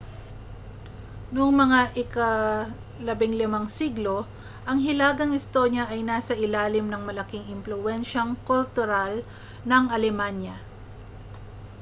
noong mga ika-15 siglo ang hilagang estonia ay nasa ilalim ng malaking impluwensiyang kultural ng alemanya